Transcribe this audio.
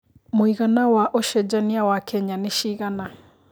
mũigana wa ũcenjanĩa wa Kenya nĩ cigana